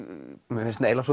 mér finnst eiginlega